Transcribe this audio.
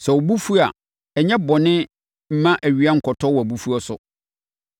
Sɛ wo bo fu a, nyɛ bɔne mma awia nkɔtɔ wʼabufuo so.